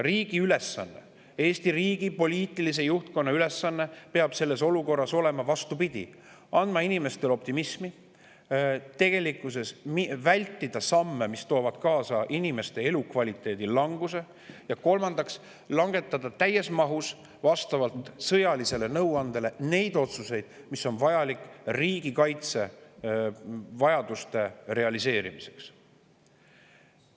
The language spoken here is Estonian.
Riigi ülesanne, Eesti riigi poliitilise juhtkonna ülesanne peab selles olukorras olema, vastupidi, see, et anda inimestele optimismi ja vältida samme, mis toovad kaasa inimeste elukvaliteedi languse, ja kolmandaks, langetada vastavalt sõjalisele nõuandele täies mahus neid otsuseid, mis on vajalikud riigikaitsevajaduste realiseerimiseks.